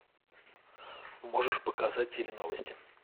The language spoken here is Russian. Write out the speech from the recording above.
можешь показать теленовости